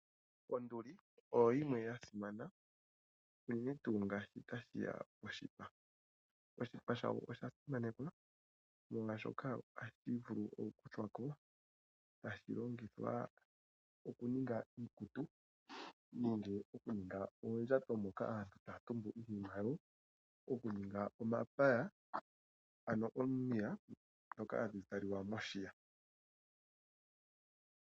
Onduli oyo yimwe ya simana unene tuu ngele otashi ya poshipa. Oshipa shawo osha simanekwa, molwashoka ohashi vulu okukuthwa ko e tashi longithwa okuninga iikutu nenge okuninga oondjato moka aantu taya tumbu iinima yawo, okuninga omapaya, ano omiya ndhoka hadhi zalwa moshiya.